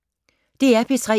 DR P3